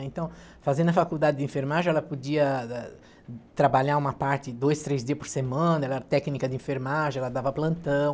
Então, fazendo a faculdade de enfermagem, ela podia ah ah trabalhar uma parte dois, três dias por semana, era técnica de enfermagem, ela dava plantão.